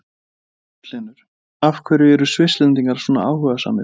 Magnús Hlynur: Af hverju eru Svisslendingar svona áhugasamir?